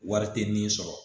Wari tɛ nin sɔrɔ